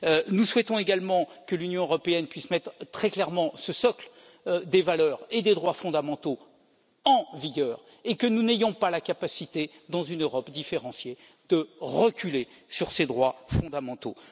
Nous souhaitons aussi que l'Union européenne puisse mettre très clairement ce socle des valeurs et des droits fondamentaux en vigueur et que nous n'ayons pas la capacité, dans une Europe différenciée, de reculer sur ces droits fondamentaux.